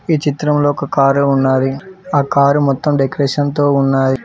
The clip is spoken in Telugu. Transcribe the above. ఈ చిత్రంలో ఒక కారు ఉన్నాది ఆ కారు మొత్తం డెకరేషన్తో ఉన్నాయ్.